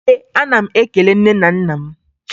Ee, ana m ekele nne na nna m.